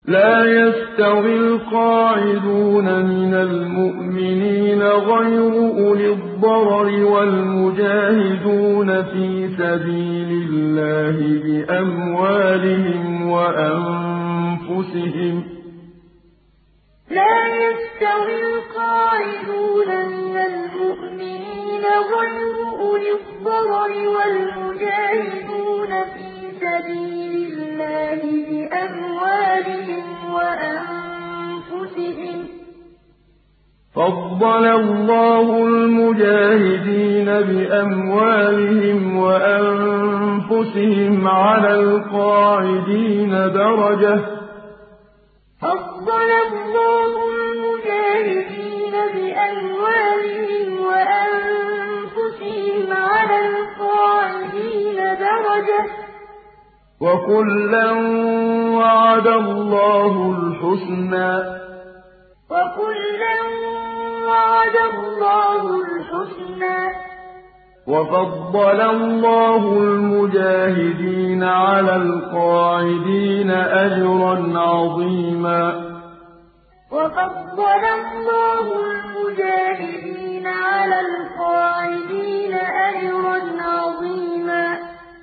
لَّا يَسْتَوِي الْقَاعِدُونَ مِنَ الْمُؤْمِنِينَ غَيْرُ أُولِي الضَّرَرِ وَالْمُجَاهِدُونَ فِي سَبِيلِ اللَّهِ بِأَمْوَالِهِمْ وَأَنفُسِهِمْ ۚ فَضَّلَ اللَّهُ الْمُجَاهِدِينَ بِأَمْوَالِهِمْ وَأَنفُسِهِمْ عَلَى الْقَاعِدِينَ دَرَجَةً ۚ وَكُلًّا وَعَدَ اللَّهُ الْحُسْنَىٰ ۚ وَفَضَّلَ اللَّهُ الْمُجَاهِدِينَ عَلَى الْقَاعِدِينَ أَجْرًا عَظِيمًا لَّا يَسْتَوِي الْقَاعِدُونَ مِنَ الْمُؤْمِنِينَ غَيْرُ أُولِي الضَّرَرِ وَالْمُجَاهِدُونَ فِي سَبِيلِ اللَّهِ بِأَمْوَالِهِمْ وَأَنفُسِهِمْ ۚ فَضَّلَ اللَّهُ الْمُجَاهِدِينَ بِأَمْوَالِهِمْ وَأَنفُسِهِمْ عَلَى الْقَاعِدِينَ دَرَجَةً ۚ وَكُلًّا وَعَدَ اللَّهُ الْحُسْنَىٰ ۚ وَفَضَّلَ اللَّهُ الْمُجَاهِدِينَ عَلَى الْقَاعِدِينَ أَجْرًا عَظِيمًا